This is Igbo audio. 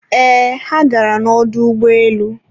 eeh, ha gara na ọdọ ụgbọelu